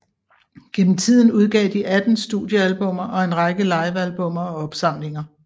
Gennem tiden udgav de 18 studiealbummer og en række livealbummer og opsamlinger